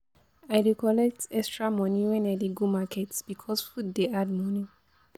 I dey collect extra moni wen I dey go market because food dey add moni.